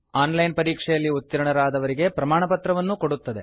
on line ಪರೀಕ್ಷೆಯಲ್ಲಿ ಉತ್ತೀರ್ಣರಾದವರಿಗೆ ಪ್ರಮಾಣಪತ್ರ ಕೊಡುತ್ತದೆ